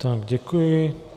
Tak děkuji.